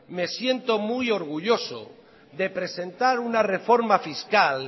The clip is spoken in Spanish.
me siento muy orgulloso de presentar una reforma fiscal